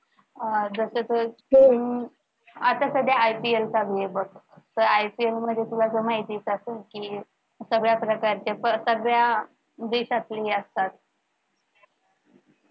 अह जस तर आता सध्या ipl चालू आहे बघ तर ipl मध्ये तुला तर माहितीच असलं कि सगळ्या प्रकारची सगळ्या देशातली असतात.